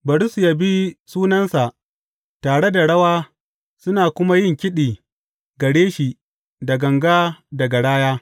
Bari su yabi sunansa tare da rawa suna kuma yin kiɗi gare shi da ganga da garaya.